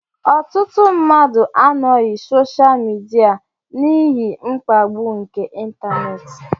Ọtụtụ mmadụ anọghị soshaal midia n'ihi mkpagbu nke ịntanetị